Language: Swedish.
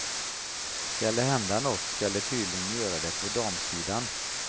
Skall det hända nåt skall det tydligen göra det på damsidan.